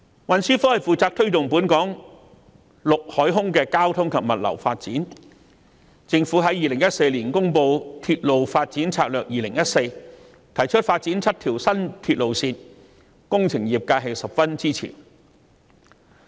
運輸科負責推動本港陸海空交通及物流發展，而政府在2014年公布《鐵路發展策略2014》，提出發展7條新鐵路線，工程業界十分支持。